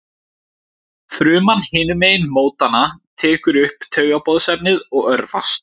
Fruman hinum megin mótanna tekur upp taugaboðefnið og örvast.